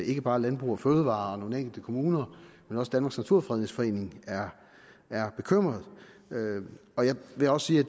ikke bare landbrug fødevarer og nogle enkelte kommuner men også danmarks naturfredningsforening er er bekymret og jeg vil også sige at